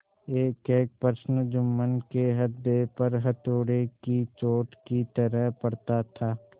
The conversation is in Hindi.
एकएक प्रश्न जुम्मन के हृदय पर हथौड़े की चोट की तरह पड़ता था